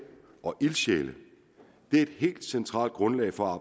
og ildsjæle er et helt centralt grundlag for